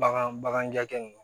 Bagan bagan bagan ja ninnu